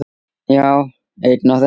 Já, einn af þeim